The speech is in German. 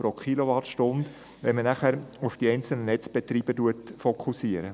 » Dies, wenn auf die einzelnen Netzbetreiber fokussiert wird.